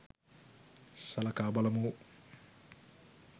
සලකා බලමු